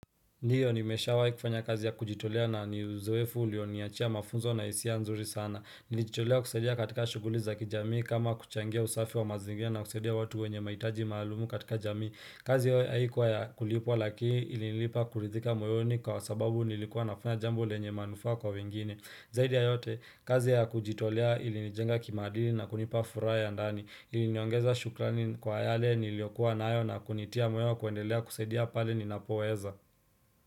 Ndiyo nimesha wahi kufanya kazi ya kujitolea na ni uzoefu ulio niachia mafunzo na hisia nzuri sana. Nilijitolea kusadia katika shughuli za kijamii kama kuchangia usafi wa mazingira na kusaidia watu wenye mahitaji maalumu katika jamii. Kazi hiyo haikuwa ya kulipwa lakini ilinilipa kuridhika moyoni kwa sababu nilikuwa nafunya jambo lenye manufaa kwa wengine. Zaidi ya yote, kazi ya kujitolea ilinijenga kimaadili na kunipa furaha ya ndani. Iliniongeza shukrani kwa yale niliyokuwa nayo na kunitia moyo wa kuendelea kusadia pale ninapoweza.